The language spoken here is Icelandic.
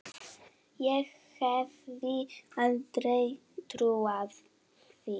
Ég hefði aldrei trúað því.